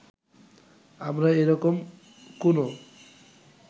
আমরা এ রকম কোনো